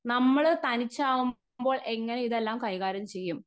speaker 1 നമ്മള് തനിച്ചാവുമ്പോൾ നമ്മൾ തനിച്ചാകുമ്പോൾ എങ്ങനെ ഇതെല്ലാം കൈകാര്യം ചെയ്യും